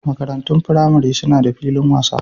Makarantun firamare suna da filin wasa.